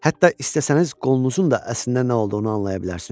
Hətta istəsəniz qolunuzun da əslində nə olduğunu anlaya bilərsiniz.